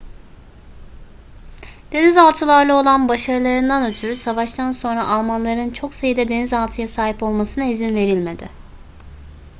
denizaltılarla olan başarılarından ötürü savaştan sonra almanların çok sayıda denizaltıya sahip olmasına izin verilmedi